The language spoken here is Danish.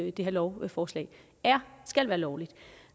i det her lovforslag skal være lovligt